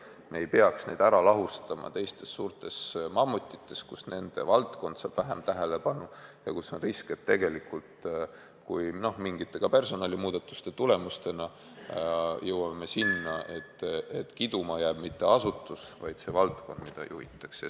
Me ei peaks neid ära lahustama suurtes mammutites, kus nende valdkond saab vähem tähelepanu ja kus on risk, et me mingite, ka personalimuudatuste tagajärjel jõuame selleni, et kiduma ei jää mitte ainult asutus, vaid kogu valdkond, mida juhitakse.